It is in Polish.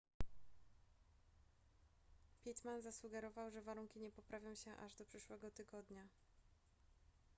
pittman zasugerował że warunki nie poprawią się aż do przyszłego tygodnia